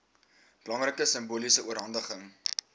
belangrike simboliese oorhandiging